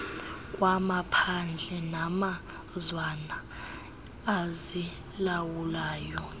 kwamaphandle namazwana azilawulayo